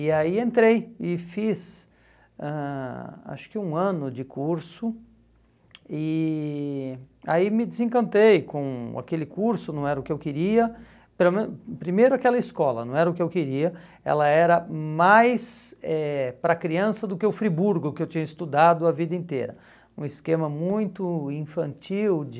e aí entrei e fiz ãh acho que um ano de curso e aí me desencantei com aquele curso não era o que eu queria pelo menos primeiro aquela escola não era o que eu queria ela era mais eh para criança do que o Friburgo que eu tinha estudado a vida inteira um esquema muito infantil de